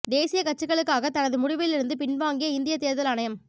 தேசிய கட்சிகளுக்காக தனது முடிவில் இருந்து பின்வாங்கிய இந்திய தேர்தல் ஆணையம்